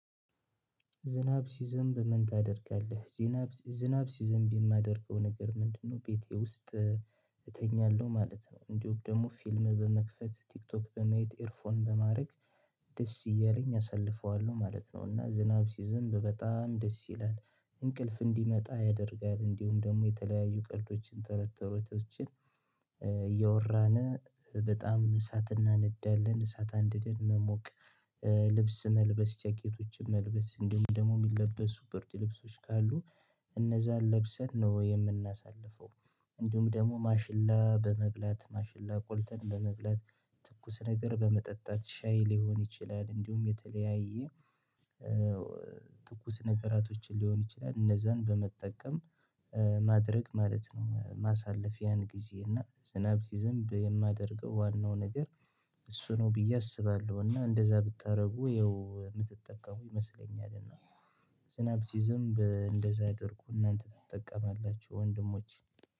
ዝናብ ሲዘዝም በምን ታደርጋለህ? ዝናብ ዝናብ ሲዝም ቢል የማደርገው ነገር ምንድነው ቤቴ ውስጥ እተኛለሁ ማለት ነው እንዲሁ ደግሞ ፊልም በመክፈት ቲክቶክ በመየት ኤርፎን በማድረግ ደስ እያለኝ አሳልፈዋለሁ ማለት ነው። እና ዝናብ ሲዝም በጣም ደስ ይላል። እንቅልፍ እንዲመጣ ያደርጋል እንዲሁም ደግሞ የተለያዩ ቀልዶችን ተረተሮቶችን። እያወራን በጣም እሳት እናነዳለን እሳት አንድን መሞቅ ልብስ መልበስ ጃኬቶችን መልበስ እንደምን ደግሞ የሚለብሱ በርጅ ልብሶች ካሉ እነዛን ለብሰን ነው የምናሳልፈው። እንዲሁም ደግሞ ማሽላ በመብላት ማሽላ ቆልተን በመብላት ትኩስ ነገር በመጠጣት ሻይ ሊሆን ይችላል እንዲሁም የተለያየ ትኩስ ነገራቶችን ሊሆን ይችላል እነዛን በመጠቀም ማድረግ ማለት ነው። ማሳለፊያን ጊዜ እና ዝናብ ጊዜ የማደርገው ዋናው ነገር እሱ ነው ብዬ አስባለሁ። እና እንደዛ ብታደርጉ ይኸው የምትጠቀመው ይመስለኛል። እና ዝናብ ሲዝም እንደዛ አድርጉ እናንተ ትጠቀማላችሁ ወንድሞች